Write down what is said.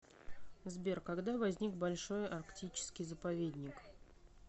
сбер когда возник большой арктический заповедник